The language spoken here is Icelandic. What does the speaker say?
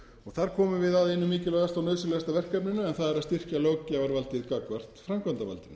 þar komum við að einu mikilvægasta og nauðsynlegasta verkefninu en það er að styrkja löggjafarvaldið gagnvart framkvæmdarvaldinu